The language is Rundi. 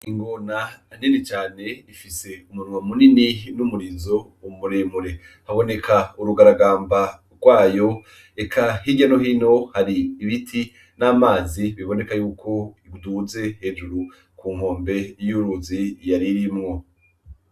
Ingona ahanini cane ifise umunwa muninj n'umuriro muremure. Haboneka urugaragamba rwayo, eka hirya no hino hari ibiti n'amazi biboneka yuko yaduze hejuru ku nkombe y'uruzi yari irimwo.